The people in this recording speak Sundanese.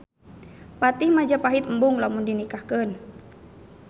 Patih Majapahit embung lamun dinikahkeun.